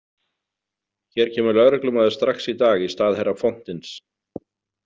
Hér kemur lögreglumaður strax í dag í stað herra Fontins.